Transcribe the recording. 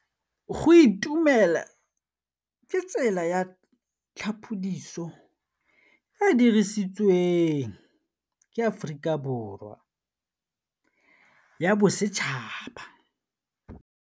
Go itumela ke tsela ya tlhapolisô e e dirisitsweng ke Aforika Borwa ya Bosetšhaba.